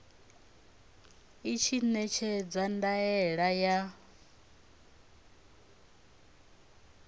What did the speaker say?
i tshi ṋekedza ndaela ya